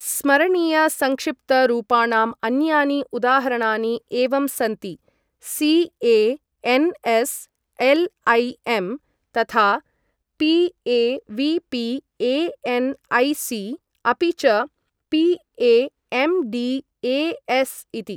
स्मरणीय संक्षिप्त रूपाणाम् अन्यानि उदाहरणानि एवं सन्ति सी.ए.एन्.एस्.एल्.ऐ.एम्. तथा पी.ए.वी.पी.ए.एन्.ऐ.सी. अपि च पी.ए.एम्.डी.ए.एस्. इति।